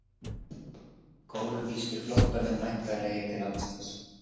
Kólumbískir flóttamenn væntanlegir til landsins